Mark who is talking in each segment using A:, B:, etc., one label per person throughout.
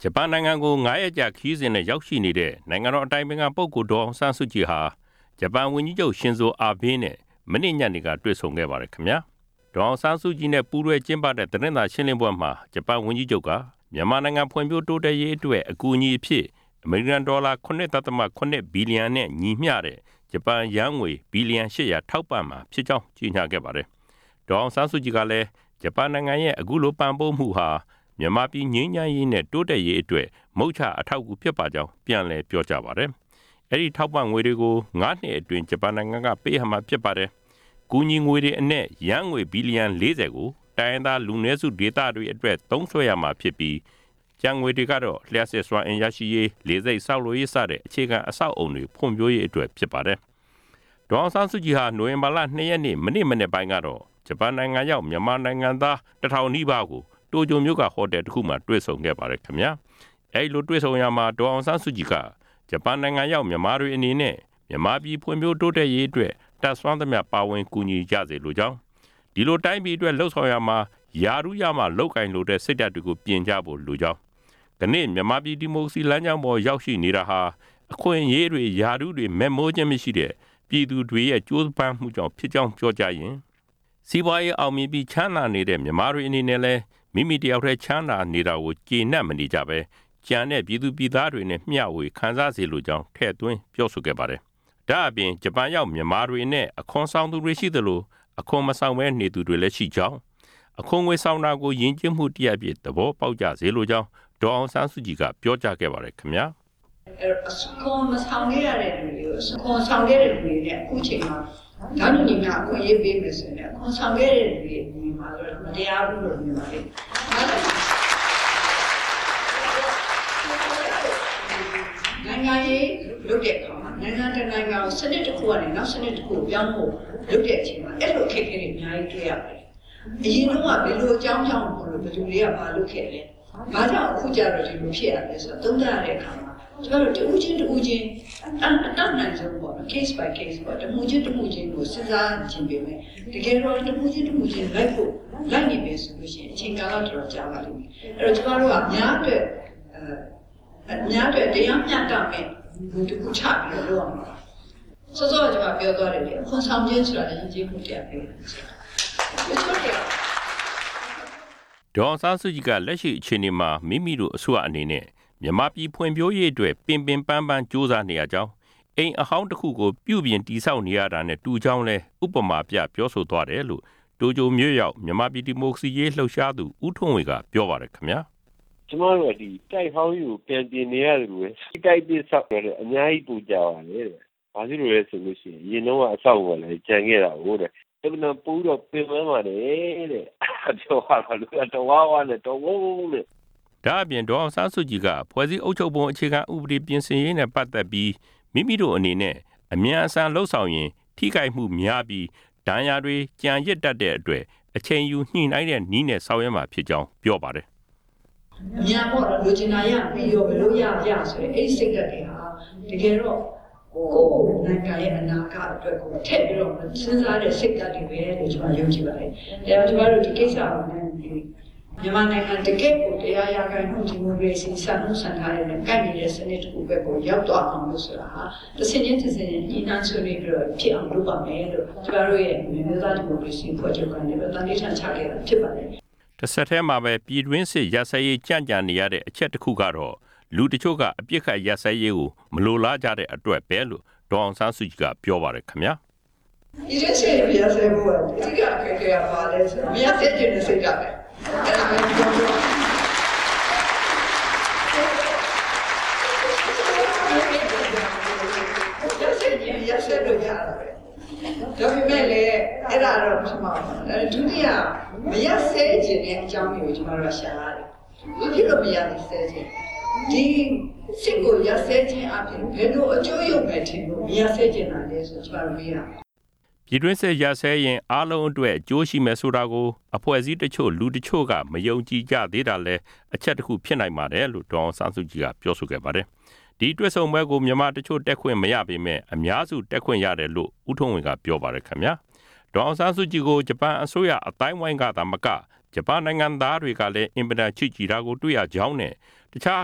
A: ဂျပန်နိုင်ငံကို အလည်အပတ်ရောက်ရှိနေတဲ့ နိုင်ငံတော် အတိုင်ပင်ခံပုဂ္ဂိုလ် ဒေါ်အောင်ဆန်းစုကြည်ဟာ ဂျပန်ဝန်ကြီးချုပ် ရှင်ဇို အာဘေးနဲ့ မနေ့ ညနေက တွေ့ဆုံခဲ့ပါတယ်။ တွေ့ဆုံပွဲအပြီး ဒေါ်အောင်ဆန်းစုကြည်နဲ့ ပူးတွဲကျင်းပတဲ့ သတင်းစာရှင်းလင်းပွဲမှာ ဂျပန်ဝန်ကြီးချုပ်က မြန်မာနိုင်ငံဖွံ့ဖြိုးတိုးတက်ရေးအတွက် အကူအညီ အဖြစ် အမေရိကန်ဒေါ်လာ သန်းပေါင်း ၇၇ဝဝ နဲ့ ညီမျှတဲ့ ဂျပန်ယန်းငွေ ဘီလီယံ ၈ဝဝ ထောက်ပံ့ မှာဖြစ်ကြောင်း ကြေညာခဲ့ပါတယ်။ ဒေါ်အောင်ဆန်းစုကြည်ကလည်း ဂျပန်နိုင်ငံရဲ့ အခုလို ပံ့ပိုးမှုဟာ မြန်မာပြည် ငြိမ်းချမ်းရေးနဲ့ တိုးတက်ရေးအတွက် အထောက်အကူဖြစ်ပါလိမ့်မယ်လို့ ပြန်လည်ပြော ဆိုပါတယ်။ အဲဒီထောက်ပံ့ငွေကို ဂျပန်အစိုးရက ၅ နှစ်အတွင်းပေးအပ်မှာဖြစ်ပါတယ်။ ကူညီငွေထဲက ယန်းငွေ ဘီလီယံ ၄ဝ ကို တိုင်းရင်းသားလူနည်းစုတွေအတွက် သုံးစွဲရမှာဖြစ်ပြီး ကျန်ငွေတွေကတော့ လျှပ်စစ်စွမ်းအင် ရရှိရေး၊ လေဆိပ်ဆောက်လုပ်ရေးစတဲ့ အခြေခံအဆောက်အအုံတွေ ဖွံ့ဖြိုးရေးအတွက် ဖြစ်ပါတယ်။ ဒေါ်အောင်ဆန်းစုကြည်ဟာ နိုဝင်္ဘာလ ၂ ရက်နေ့ မနေ့မနက်ပိုင်းကတော့ မြန်မာနိုင်ငံသား တထောင်ခန့်နဲ့ တိုကျိုမြို့က ဟိုတယ်တခုမှာ တွေ့ဆုံ့ခဲ့ပါတယ်။ အဲဒီလိုတွေ့ဆုံရာမှာ ဒေါ်အောင်ဆန်းစုကြည်က ဂျပန်ရောက်မြန်မာတွေအနေနဲ့ မြန်မာပြည်တိုးတက်ရေးအတွက် တတ်နိုင်သမျှပါဝင်ကူညီကြစေလိုကြောင်း၊ အဲဒီလိုတိုင်းပြည်အတွက် လုပ်ဆောင်ရာမှာ ရာထူးရမှလုပ်ကိုင်လိုတဲ့ စိတ်ဓါတ်ကို ပြင်ကြဖို့လိုကြောင်း၊ ဒီနေ့မြန်မာပြည် ဒီမိုကရေစီလမ်းကြောင်းပေါ် ရောက်ရှိလာတာဟာ အခွင့်အရေးတွေ ရာထူးတွေ မက်မောခြင်း မရှိတဲ့ ပြည်သူတွေရဲ့ ကြိုးစားဆောင်ရွက်မှုကြောင့်ဖြစ်ကြောင်း ပြောကြားရင်း စီးပွားရေးအောင်မြင်ပြီး ချမ်းသာနေတဲ့ မြန်မာတွေအနေနဲ့လည်း မိမိတယောက်တည်းချမ်းသာနေတာကို ကြေနပ်မနေပဲ ကျန်တဲ့ ပြည်သူပြည်သားတွေနဲ့ မျှဝေခံစားစေလိုကြောင်း ထည့်သွင်းပြောဆိုခဲ့ပါတယ်။ ဒါ့အပြင် ဂျပန်ရောက်မြန်မာတွေအနက် အခွန်ဆောင်သူတွေ ရှိသလို အခွန်မဆောင်ဘဲနေသူတွေလည်းရှိကြောင်းနဲ့ အခွန်ငွေဆောင်တာကို ယဉ်ကျေးမှုတရပ်အဖြစ် သဘောပေါက်ကြစေလိုကြောင်း ဒေါ်အောင်ဆန်းစုကြည် ကပြောပါတယ်။ “အခ
B: ွန်ဆောင်တဲ့သူတွေကို အခွန်မဆောင်ခဲ့သူတွေနဲ့ အခုနေမှာ တန်းတူအခွင့်အရေးပေးမယ်ဆိုရင်လည်း အခွန်ဆောင်ခဲ့သူတွေအနေနဲ့ မတရားဘူးလို့ မြင်ပါလိမ့်မယ်။ နိုင်ငံရေးလုပ် တဲ့နေရာမှာ၊ နိုင်ငံတနိုင်ငံကို စံနစ်တခုကနေ နောက်တခုကိုပြောင်းဖို့ လုပ်တဲ့အချိန်မှာ အဲဒီလို အခက်အခဲတွေ အများကြီးတွေ့ရပါတယ်။ အရင်တုန်းက ဘယ်လိုအကြောင်းကြောင့်မို့လို့ ဘယ်သူတွေက ဘာလုပ်ခဲ့သလဲ။ ဘာကြောင့်အခုကျတော့ ဒီလိုဖြစ်ရသလဲဆိုတာ သုံးသပ်ရတဲ့အခါမှာ ကျမတို့ တဦးချင်းတဦးချင်း အတတ်နိုင်ဆုံးပေါ့နော်။ case by case တမှုချင်းတမှုချင်းကို စဉ်းစားချင်ပေမယ့် တခုချင်းလိုက်နေမယ်ဆိုရင် အချိန်ကာလ အတော်ကြာပါလိမ့်မယ်။ အဲဒီတော့ ကျမတို့က အများအတွက် တရားမျတမယ့် မူတခုချပြီးလုပ်ရမှာပါ။ စောစောက ကျမပြောသွားတယ်လေ၊ အခွန်ဆောင်ခြင်းဟာလည်း ယဉ်ကျေးမှုတရပ်ပဲလို့
A: ။ ဒေါ်အောင်ဆန်းစုကြည်က လက်ရှိအခြေအနေမှာ မိမိတို့အစိုးရအနေနဲ့ မြန်မာပြည်ဖွံဖြိုးရေးအတွက် ပင်ပင်ပန်းပန်း ခက်ခက်ခဲခဲကြိုးစားနေရကြောင်း အိမ်အဟောင်းတခုကို ပြုပြင်တည်ဆောက်နေရတာနဲ့ တူကြောင်းလည်း ဥပမာပြ ပြောသွားတယ်လို့ တိုကျိုမြို့ရောက် မြန်မာ ဒီမိုကရေစီရေးလှုပ်ရှားသူ ဦးထွန်းဝေ ကပြောပါတယ်။ “
C: ကျမတို့က တိုက်အဟောင်းကြီးကို ပြန်ပြင်နေရသလိုပဲ။ တိုက်အသစ်ဆောက်တာထက် အများကြီးပိုကြာပါတယ်တဲ့။ အရင်တုန်းက အဆောက်အအုံကလည်း ကျန်ခဲ့တာကိုး။ အင်မတန်ပိုပြီး ပင်ပန်းပါတယ်တဲ့။ အဲဒါပြောတော့ လူတွေက တဝါးဝါးနဲ့။” ဒ
A: ါ့အပြင် ဒေါ်အောင်ဆန်းစုကြည်က ဖွဲ့စည်းပုံပြင်ဆင်ရေးနဲ့ ပတ်သက်ပြီး မိမိတို့အနေနဲ့ အမြန်အဆန်လုပ်ဆောင်ရင် ထိခိုက်မှုများပြီး ဒဏ်ရာတွေကျန်ရစ်တတ်တဲ့အတွက် အချိန်ယူညှိနိုင်းတဲ့နည်းနဲ့ ဆောင်ရွက်မှာဖြစ်ကြောင်းပြောပါတယ်။
B: “အမြန်ပေါ့၊ လိုချင်တာရပြီးရော၊ ဘယ်လိုရရ ဆိုတဲ့ အဲဒီစိတ်ဓါတ်တွေဟာ တကယ်တော့ ကိုယ့်နိုင်ငံရဲ့ အနာဂတ်အတွက် ထည့်ပြီးမစဉ်းစားတဲ့ စိတ်ဓါတ်တွေပဲလို့ ကျမယုံကြည်ပါတယ်။ အဲဒီတော့ မြန်မာနိုင်ငံဟာ တကယ့်ကို ၁ဝဝ% ဒီမိုကရေစီစံနှုံးစံထားတွေနဲ့ ကိုက်ညီတဲ့စံနစ်တခုဖက်ကို ရောက်သွားအောင်လို့ တဆင့်ခြင်းတဆင့် ညှိနိုင်းဆွေးနွေးပြီးတော့ ဖြစ်အောင်လုပ်သွားမယ်လို့ သံဓိဌာန်ချခဲ့တာဖြစ်ပါတယ်။
A: ” တဆက်တည်းမှာပဲ ပြည်တွင်းစစ်ရပ်စဲရေးကြန့်ကြာနေရတဲ့ အချက်တခုကတော့ သက်ဆိုင်သူတချို့က အပစ်အခတ်ရပ်စဲရေးကို မလိုလားကြတဲ့အတွက်ပဲလို့ ဒေါ်အောင်ဆန်းစုကြည်က ပြောပါတယ်။ “
B: ပြည်တွင်းစစ်ရပ်စဲဖို့က အဓိကအခက်အခဲက ဘာလဲဆိုတော့ မရပ်စဲချင်တဲ့ စိတ်ဓါတ်ပဲ ။ ရပ်စေချင်ရ
A: င် ရပ်စဲလို့ရတာပဲ။ ဒါပေမယ့်လည်း မ
B: ရပ်စဲချင်တဲ့ အကြောင်းရင်းကို ကျမတို့ရှာရမယ်။ ဘာဖြစ်လို့ မရပ်စဲချင်တာလဲ။ ဒီစစ်ကိုရပ်စဲခြင်းအားဖြင့် ဘယ်လိုအကျိုးယုတ်မယ်ထင်လို့ မရပ်စဲချင်တာလည်း ဆိုတာ ကျမတို့မေးရမယ်။
A: ” ပြည်တွင်းစစ်ရပ်စဲရင် အားလုံးအတွက် အကျိုးရှိမယ်ဆိုတာကို မှန်မှန်ကန်ကန် မသုံးသပ်နိုင်ကြသေးတာကြောင့်လည်း ဖြစ်နိုင်တယ်လို့ ဒေါ်အောင်ဆန်းစုကြည် ကပြောပါတယ်။ အဲဒီတွေ့ဆုံပွဲကို မြန်မာတချို့တက်ခွင့်မရပေမယ့် အများစုတက်ခွင့်ရတယ်လို့လည်း ဦးထွန်းဝေက ပြောပါတယ်။ ဒေါ်အောင်ဆန်းစုကြည်ကို ဂျပန်အစိုးရအသိုင်းအဝန်းကသာမက ဂျပန်နိုင်ငံသားတွေကလည်း အင်မတန်ချစ်ကြည်တာကို တွေ့ရကြောင်း နဲ့ တခြား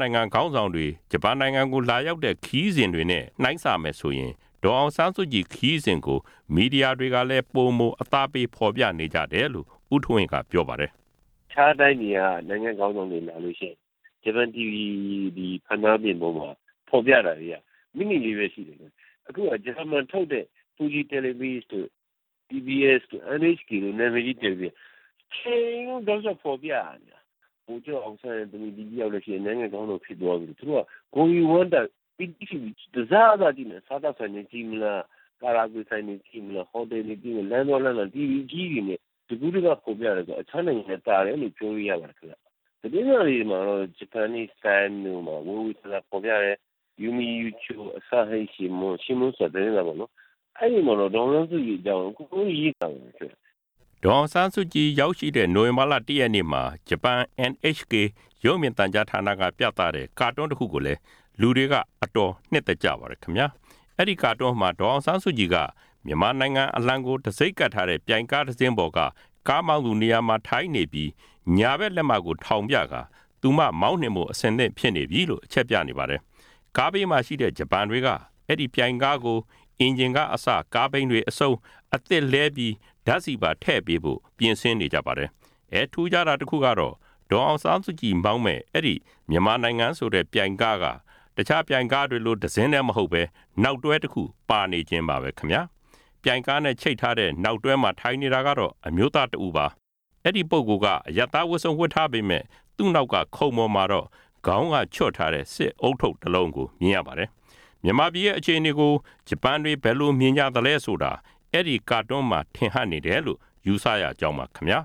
A: နိုင်ငံခေါင်းဆောင်တွေ ဂျပန်ကိုလာရောက်တဲ့ခရီးစဉ်တွေနဲ့ နိုင်းစာရင် ဒေါ်အောင်ဆန်းစုကြည်ခရီးစဉ်ကို မီဒီယာတွေကလည်း ပိုမိုအသားပေး ဖေါ်ပြနေကြကြောင်း ဦးထွန်းဝေ ကပြောပါတယ်။
C: “တခြားတိုင်းပြည်တွေက နိုင်ငံ့ခေါင်းဆောင်တွေလာလို့ရှိရင် ရုပ်မြင်သံကြားေတွေမှာ ဖေါ်ပြတာတွေက မိနစ်ပိုင်းပဲရှိတယ်။ အခုဟာက ဂျပန်မှာလွှင့်တဲ့ ဖူဂျီတို့ NHK တို့ နံမည်ကြီး TV ဌာနတွေက တချိန်လုံး တောက်လျှောက်ဖေါ်ပြနေတာ။ ဗိုလ်ချုပ်အောင်ဆန်းရဲ့သမီး ဒီတယောက်ပဲရှိတာ။ သူအခု ခေါင်းဆောင်ဖြစ်သွားပြီဆိုပြီး သူတို့က ဂုဏ်ယူဝမ်းသာစွာကြည့်နေကြတာ၊ စားသောက်ဆိုင်တွေကြည့်မလား၊ ကာရာအိုကေဆိုင်တွေ၊ ဟိုတယ်တွေကြည့်မလား၊ လမ်းသွားလမ်းလာတွေ TV အကြီးကြီးတွေနဲ့ တကူးတကဖေါ်ပြနေကြတာကြောင့် တခြားနိုင်ငံခေါင်းဆောင်တွေလာတာထက် သာတယ်လို့ ပြောလို့ရပါတယ်။” ဒေ
A: ါ်အောင်ဆန်းစုကြည် ရောက်ရှိတဲ့ နိုဝင်္ဘာလ ၁ ရက်နေ့မှာ ဂျပန် NHK ရုပ်မြင်သံကြားကပြသတဲ့ ကာတွန်းတခုကိုလည်း လူတွေက အတော်နှစ်သက်ကြပါတယ်။ အဲဒီကာတွန်းမှာ ဒေါ်အောင်ဆန်းစုကြည်က မြန်မာနိုင်အလံ တံဆိပ်ကပ်ထားတဲ့ ပြိုင်ကားတစင်းပေါ်က ကားမောင်းသူနေရာမှာ ထိုင်နေပြီး ညာဖက်လက်မကို ထောင်ပြကာ သူမောင်းနှင်ဖို့ အဆင်သင့်ဖြစ်နေပြီလို့ အချက်ပြနေပါတယ်။ ကားဘေးမှာရှိတဲ့ ဂျပန်တွေက အဲဒီပြိုင်ကားကို အင်ဂျင်ကအစ ကားဘီးတွေအဆုံး အသစ်လဲပြီး ဓါတ်ဆီပါထည့်ပေးဖို့ လုပ်ဆောင်နေကြပါတယ်။ ထူးခြားတာကတော့ ဒေါ်အောင်ဆန်းစုကြည်မောင်းမဲ့ အဲဒီမြန်မာနိုင်ငံဆိုတဲ့ ပြိုင်ကားက တခြားပြိုင်ကားတွေလို တစင်းတည်းမဟုတ်ပဲ နောက်တွဲတခုပါနေခြင်းပါပဲ။ ပြိုင်ကားနဲ့ချိတ်ထားတဲ့ နောက်တွဲမှာထိုင်နေတာကတော့ အမျိုးသားတဦးပါ။ အဲဒီ ပုဂ္ဂိုလ်က အရပ်သား ဝတ်စုံဝတ်ထားပေမယ့် သူ့နောက်ကခုံပေါ်မှာတော့ ခေါင်းကချွတ်ထားတဲ့ စစ်ဦးထုပ်တလုံးကို မြင်ရပါတယ်။ မြန်မာပြည်ရဲ့အခြေအနေကို ဂျပန်တွေက ဘယ်လိုမြင်ကြသလဲ ဆိုတာ အဲဒီကာတွန်းမှာ ထင်ဟပ်နေတယ်လို့ ယူဆရကြောင်းပါခင်ဗျာ